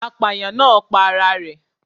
Apàyàǹ náà pa ara rẹ̀